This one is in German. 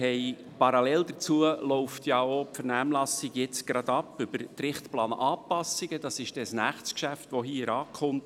Parallel dazu läuft ja jetzt die Vernehmlassung zur Richtplananpassung, ein Geschäft, das bald in den Rat kommt.